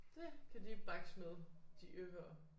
Det kan de bakse med de øffere